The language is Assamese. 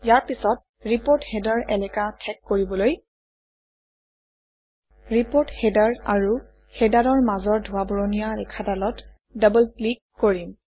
ইয়াৰ পিছত ৰিপোৰ্ট হেডাৰ এলেকা ঠেক কৰিবলৈ ৰিপৰ্ট হেডাৰ আৰু হেডাৰৰ মাজৰ ধোঁৱা বৰণীয়া ৰেখাডালত ডবল ক্লিক কৰিম